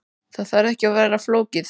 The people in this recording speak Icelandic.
Það þarf ekki að vera flókið.